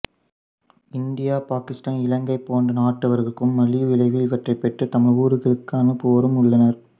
India Pakistan Ilangai போன்ற நாட்டவர்களும் மலிவு விலையில் இவற்றை பெற்று தமது ஊர்களுக்கு அனுப்புவோரும் உள்ளனர்